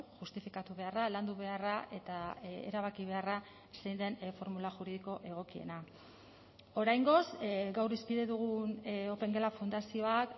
justifikatu beharra landu beharra eta erabaki beharra zein den formula juridiko egokiena oraingoz gaur hizpide dugun opengela fundazioak